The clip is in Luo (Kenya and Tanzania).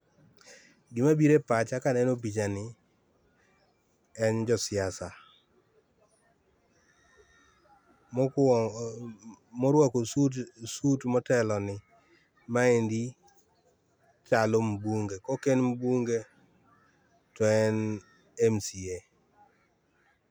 Gima biro e pacha kaneno picha ni en jo siasa. Mokuongo, morwako suit motelo ni, maendi chalo mbunge. Ka ok en mbunge to en MCA.